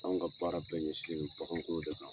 Anw ka baara bɛɛ ɲɛsinen don baganko de kan